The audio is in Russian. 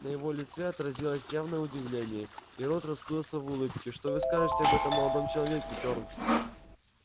на его лице отразилось явное удивление и рот расплылся в улыбке что вы скажете об этом молодом человеке фёрл